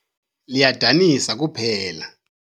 Liyadanisa kuphela.